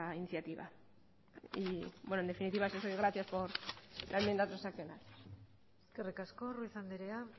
iniciativa y bueno en definitiva gracias por la enmienda transaccional eskerrik asko ruiz anderea